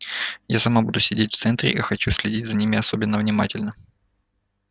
я сама буду сидеть в центре и хочу следить за ними особенно внимательно